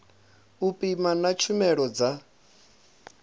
u pima na tshumelo dza